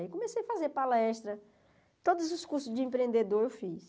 Aí comecei a fazer palestra, todos os cursos de empreendedor eu fiz.